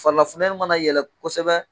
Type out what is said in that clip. Farila futɛni ma na yɛlɛ kosɛbɛ